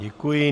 Děkuji.